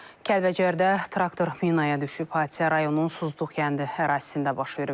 Kəlbəcərdə traktor minaya düşüb, hadisə rayonun suzluq kəndi ərazisində baş verib.